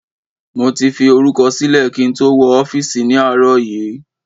Mo ti fi orúkọ sílẹ̀ kí n tó wọ ọ́fíìsì ni àárọ̀ yìí